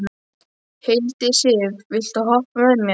Hildisif, viltu hoppa með mér?